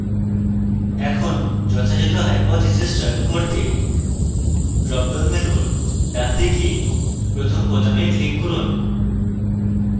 এখন যথাযথ hypothesis চয়ন করতে dropdown menu ডানদিকে প্রথম বোতামে click করুন